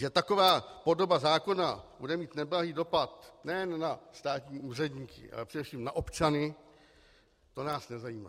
Že taková podoba zákona bude mít neblahý dopad nejen na státní úředníky, ale především na občany, to nás nezajímá.